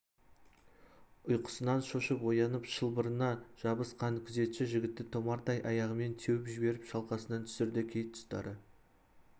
ұйқысынан шошып оянып шылбырына жабыс- қан күзетші жігітті томардай аяғымен теуіп жеберіп шалқасынан түсірді кей тұстары